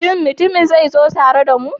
Shin mutumin zai zo tare da mu?